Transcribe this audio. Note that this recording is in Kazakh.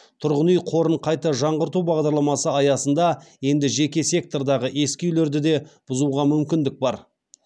тұрғын үй қорын қайта жаңғарту бағдарламасы аясында енді жеке сектордағы ескі үйлерді де бұзуға мүмкіндік бар